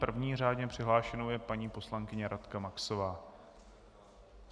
První řádně přihlášenou je paní poslankyně Radka Maxová.